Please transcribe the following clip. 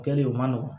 Kɛlen u man nɔgɔn